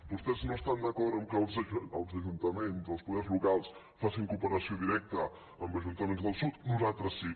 vos tès no estan d’acord que els ajuntaments o els poders locals facin cooperació directa amb ajuntaments del sud nosaltres sí